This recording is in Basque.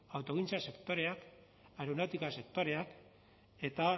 autogintza sektoreak aeronautika sektoreak eta